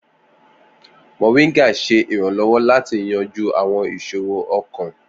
Moringa ṣe iranlọwọ lati yanju awọn iṣoro ọkan.